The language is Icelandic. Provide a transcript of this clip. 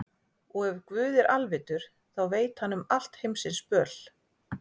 Og ef Guð er alvitur, þá veit hann um allt heimsins böl.